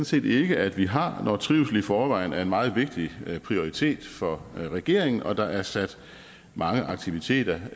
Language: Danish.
set ikke at vi har når trivsel i forvejen er en meget vigtig prioritet for regeringen og der er sat mange aktiviteter